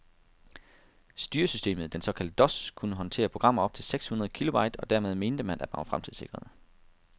Styresystemet, den såkaldte dos, kunne håndtere programmer op til seks hundrede kilobyte, og dermed mente man, at man var fremtidssikret.